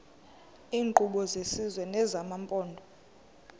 iinkqubo zesizwe nezamaphondo